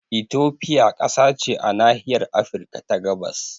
Ethiopia kasa ce a nahiyar Afirka ta gabas